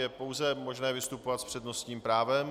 Je pouze možné vystupovat s přednostním právem.